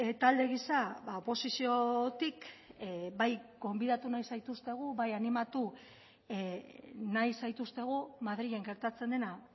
talde giza oposiziotik bai gonbidatu nahi zaituztegu bai animatu nahi zaituztegu madrilen gertatzen dena